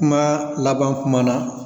Kuma laban kuma na